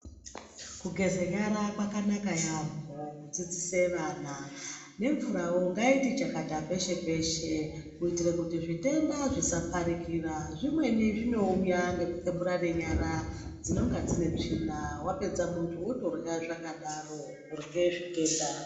Kugeza nyara kwakanaka yambo kudzidzisa vana nemvurawo ngaiti chakata peshe -peshe kuitire kuti zvitenda zvisaparikira zvimweni zvinouya ngekukweburane nyara dzinenge dzine tsvina wapedza wotorya wakadaro kurye zvitenda.